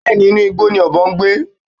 Bẹ́ẹ̀ni, inú igbó ni ọ̀bọ ń gbé